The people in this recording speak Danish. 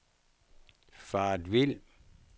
faret vild